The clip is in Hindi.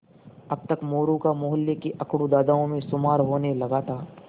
अब तक मोरू का मौहल्ले के अकड़ू दादाओं में शुमार होने लगा था